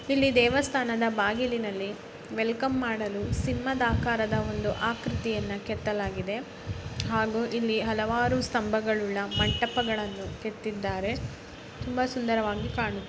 ಇಲ್ಲಿ ದೇವಸ್ಥಾನದ ಬಾಗಿಲಿನಲ್ಲಿ ವೆಲ್ಕಮ್ ಮಾಡಲು ಸಿಂಹದ ಚಿತ್ರವನ್ನು ಗೆದ್ದಲಾಗಿದೆ ಮತ್ತು ಇಲ್ಲಿ ಹಲವಾರು ಕೆತ್ತನೆ ಮಾಡಲಾಗಿದೆ ತುಂಬಾ ಸುಂದರವಾಗಿದೆ.ಕಾಣುತ್ತಿದೆ.